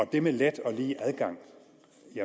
det med let og lige adgang